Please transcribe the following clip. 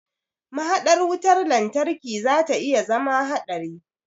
Mahaɗar wutar lantarki zata iya zama haɗari.